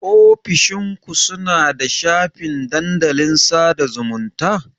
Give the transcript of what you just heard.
Ofishin ku suna da shafin dandalin sada zumunta.